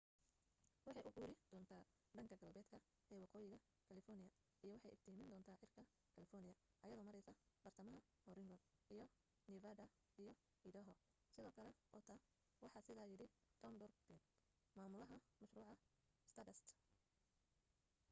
waxay u guuri doonta dhanka galbeedka ee waqooyiga california iyo waxay iftiimin doonta cirka california iyado mareysa bartamaha oregon iyo nevada iyo idaho sidoo kale utah waxaa sidaa yidhi tom duxbury mamulaha mashruuca stardust